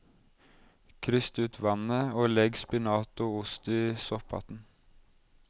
Kryst ut vannet og legg spinat og ost i sopphatten.